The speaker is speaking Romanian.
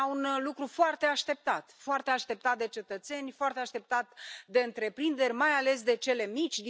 Era un lucru foarte așteptat foarte așteptat de cetățeni, foarte așteptat de întreprinderi, mai ales de cele mici.